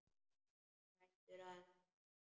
Hún grætur aðeins meira.